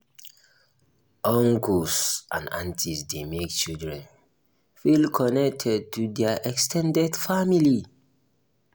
uncles and aunties dey make children feel connected to their ex ten ded family